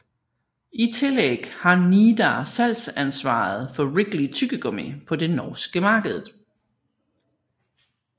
I tillæg har Nidar salgsansvaret for Wrigley tyggegummi på det norske markedet